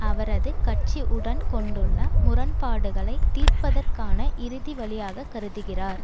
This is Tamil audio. அவரது கட்சி உடன் கொண்டுள்ள முரண்பாடுகளை தீர்ப்பதற்கான இறுதி வழியாக கருதுகிறார்